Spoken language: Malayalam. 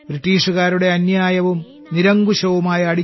ബ്രിട്ടീഷുകാരുടെ അന്യായവും നിരങ്കുശവുമായ